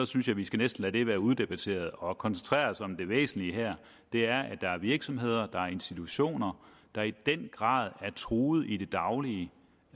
synes vi skal lade det være uddebatteret og koncentrere os om det væsentlige her det er at der er virksomheder og institutioner der i den grad er truet i det daglige